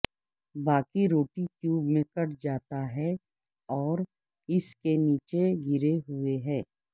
باقی روٹی کیوب میں کٹ جاتا ہے اور اس کے نیچے گرے ہوئے ہیں